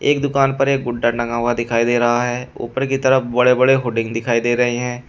एक दुकान पर एक गुड्डा टंगा हुआ दिखाई दे रहा है ऊपर की तरफ बड़े बड़े होर्डिंग दिखाई दे रही हैं।